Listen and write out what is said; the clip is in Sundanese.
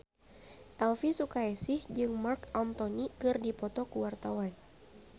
Elvy Sukaesih jeung Marc Anthony keur dipoto ku wartawan